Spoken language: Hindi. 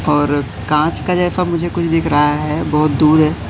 और कांच का जैसा मुझे कुछ दिख रहा है बहोत दूर है।